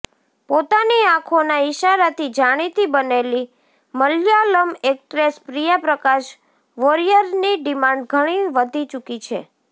પોતાની આંખોના ઈશારાથી જાણીતી બનેલી મલયાલમ એક્ટ્રેસ પ્રિયા પ્રકાશ વોરિયરની ડિમાન્ડ ઘણી વધી ચૂકી છે